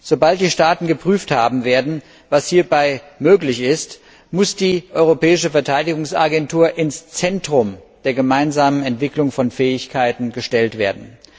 Sobald die Staaten geprüft haben werden, was hier möglich ist, muss die Europäische Verteidigungsagentur ins Zentrum der gemeinsamen Entwicklung von Fähigkeiten gestellt werden.